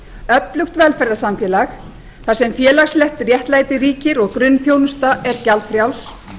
öflugt velferðarsamfélag þar sem félagslegt jafnrétti ríkir og grunnþjónusta er gjaldfrjáls